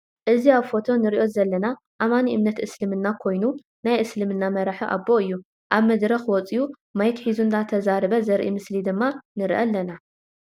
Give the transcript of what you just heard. ኣዚ ኣብ ፎቶ እንሪኦ ዘለና ኣማኒ እምነት እስልምና ኮይኑ ናይ እስልምና መራሒ ኣቦ እዩ። ኣብ መድርኽ ውፅዩ ማይክ ሒዙ እናተዛረበ ዘርኢ ምስሊ ድማ ንርኢ ኣለና ።